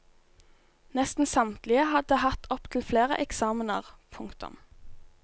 Nesten samtlige hadde hatt opptil flere eksamener. punktum